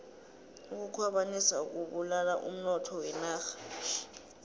ukukhwabanisa kubulala umnotho wenarha